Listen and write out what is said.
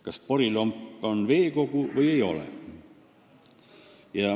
Kas porilomp on veekogu või ei ole?